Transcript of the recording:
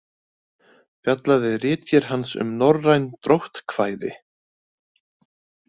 Fjallaði ritgerð hans um norræn dróttkvæði.